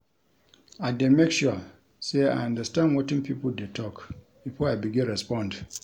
I dey make sure sey I understand wetin pipo dey tok before I begin respond.